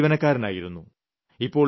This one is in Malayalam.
സർക്കാർ ജീവനക്കാരനായിരുന്നു